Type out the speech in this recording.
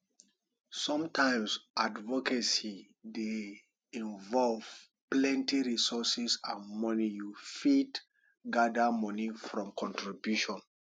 sometimes advocacy dey involve plenty resources and money you fit gather money from contribution